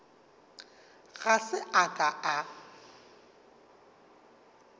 ga se a ka a